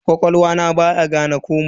Ƙwaƙwalwa na baya gane komai.